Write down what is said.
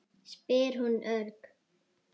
spyr hún örg.